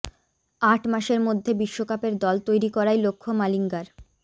আট মাসের মধ্যে বিশ্বকাপের দল তৈরি করাই লক্ষ্য মালিঙ্গার